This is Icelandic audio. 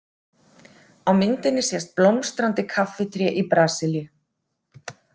Á myndinni sést blómstrandi kaffitré í Brasilíu.